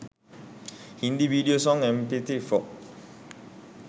hindi video song mp4